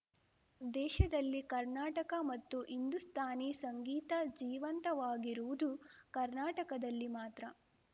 ದೇಶದಲ್ಲಿ ಕರ್ನಾಟಕ ಮತ್ತು ಹಿಂದೂಸ್ತಾನಿ ಸಂಗೀತ ಜೀವಂತವಾಗಿರುವುದು ಕರ್ನಾಟಕದಲ್ಲಿ ಮಾತ್ರ